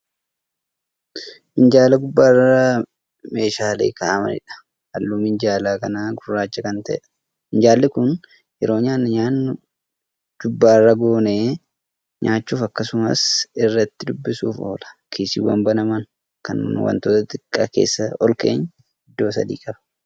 Minjaala gubbaarra muushaaleen kaa'amaniidha halluun minjaala kanaa gurraacha Kan ta'eedha. minjaalli Kun yeroo nyaataa nyaannu jubbaarra goonee nyaachuuf akkasumas irratti dubbisuuf oola. kiisiiwwan banaman Kan wantoota xixiqqaa keessa olkeenyu iddoo sadi'i qaba.